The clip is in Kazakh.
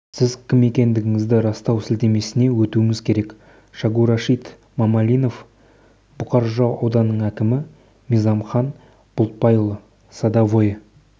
сіз кім екендігіңізді растау сілтемесіне өтуіңіз керек шагурашид мамалинов бұқар жырау ауданының әкімі мизамхан бұлтбайұлы садовое